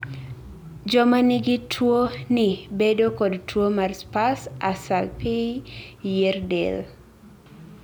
joma nigi tuo ni bedo kod tuo mar sparse asalpei yier del